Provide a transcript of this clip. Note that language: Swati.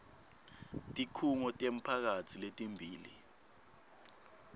tikhungo temphakatsi letimbili